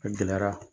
A gɛlɛyara